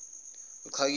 uchakijana